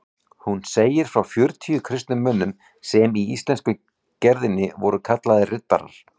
Hún segir frá fjörutíu kristnum mönnum sem í íslensku gerðinni voru kallaðir riddarar.